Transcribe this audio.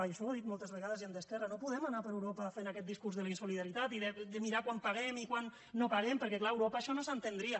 i això ho ha dit moltes vegades gent d’esquerra no podem anar per europa fent aquest discurs de la insolidaritat i de mirar quant paguem i quant no paguem perquè clar a europa això no s’entendria